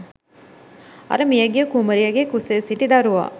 අර මියගිය කුමරියගේ කුසේ සිටි දරුවා